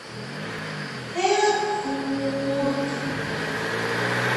эрфурт